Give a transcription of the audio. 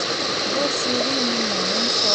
bó ti rí ni mò ń sọ